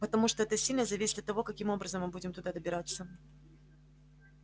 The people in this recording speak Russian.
потому что это сильно зависит от того каким образом мы будем туда добираться